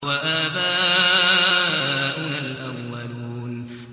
أَوَآبَاؤُنَا الْأَوَّلُونَ